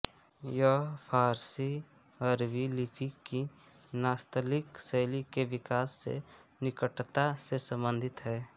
यह फ़ारसीअरबी लिपि की नास्तलिक शैली के विकास से निकटता से सम्बन्धित है